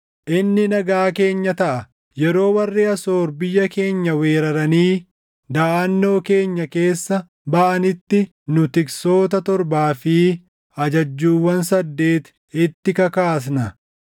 Inni nagaa keenya taʼa; yeroo warri Asoor biyya keenya weeraranii daʼannoo keenya keessa baʼanitti nu tiksoota torbaa fi ajajjuuwwan saddeet itti kakaasna.